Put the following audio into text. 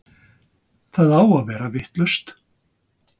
Það á að vera vitlaust!